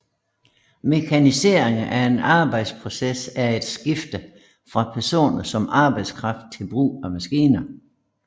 Mekanisering af en arbejdsproces er et skifte fra personer som arbejdskraft til brug af maskiner